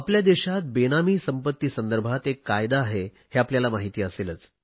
आपल्या देशात बेनामी संपत्ती संदर्भात एक कायदा आहे हे आपल्याला माहिती असेलच